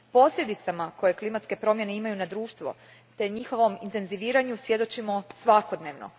Posljedicama koje klimatske promjene imaju na društvo te njihovom intenziviranju svjedočimo svakodnevno.